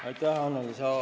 Aitäh, Annely!